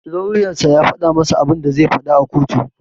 Lauyan sa ya faɗa masa abinda zai faɗa a kotu.